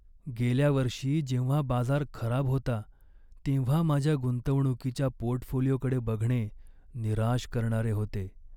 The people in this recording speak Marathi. गेल्या वर्षी जेव्हा बाजार खराब होता तेव्हा माझ्या गुंतवणुकीच्या पोर्टफोलिओकडे बघणे निराश करणारे होते.